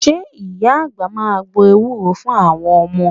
Ṣé Ìyá àgbà máa gbo ewúro fún àwọn ọmọ?